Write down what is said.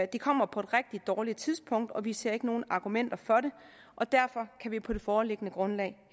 det kommer på et rigtig dårligt tidspunkt og vi ser ikke nogen argumenter for det og derfor kan vi på det foreliggende grundlag